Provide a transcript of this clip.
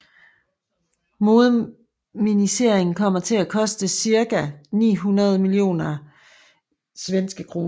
Moderniseringen kommer til at koste cirka 900 millioner SEK